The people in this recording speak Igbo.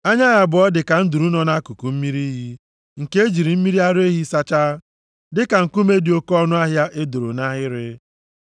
Anya ya abụọ dịka nduru + 5:12 \+xt Abk 1:15; 4:1\+xt* nọ nʼakụkụ mmiri iyi nke e jiri mmiri ara ehi sachaa, dịka nkume dị oke ọnụahịa e doro nʼahịrị.